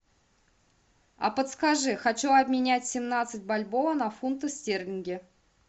а подскажи хочу обменять семнадцать бальбоа на фунты стерлинги